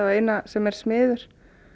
eina sem er smiður